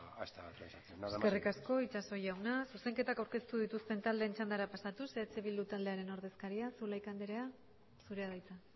esta transacción nada más y muchas gracias eskerrik asko itxaso jauna zuzenketak aurkeztu dituzten taldeen txandara pasatuz eh bildu taldearen ordezkaria zulaika anderea zurea da hitza